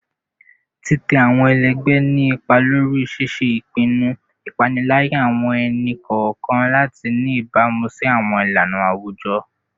Titẹ awọn ẹlẹgbẹ ni ipa lori ṣiṣe ipinnu, ipaniyan awọn ẹni-kọọkan lati ni ibamu si awọn ilana awujọ